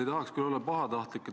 Ei tahaks küll olla pahatahtlik.